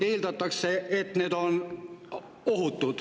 Eeldatakse, et on ohutu.